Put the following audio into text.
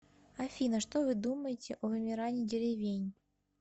афина что вы думаете о вымирании деревень